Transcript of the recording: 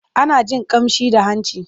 Ana jin ƙamshi da hanci.